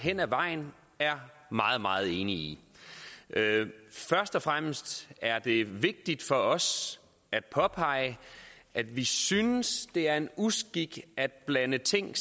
hen ad vejen er meget meget enige i først og fremmest er det vigtigt for os at påpege at vi synes det er en uskik at blande ting